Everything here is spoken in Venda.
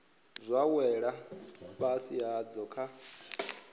zwa wela fhasi hadzo kha